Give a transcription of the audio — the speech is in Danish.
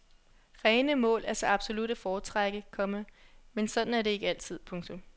Rene mål er så absolut at foretrække, komma men sådan er det ikke altid. punktum